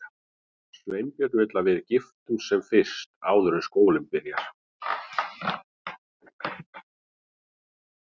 Sveinbjörn vill að við giftumst sem fyrst, áður en skólinn byrjar.